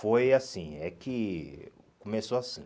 Foi assim, é que começou assim.